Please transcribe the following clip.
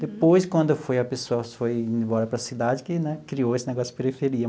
Depois, quando foi as pessoas foi indo embora para as cidades que né criou esse negócio de periferia.